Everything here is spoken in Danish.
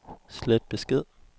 slet besked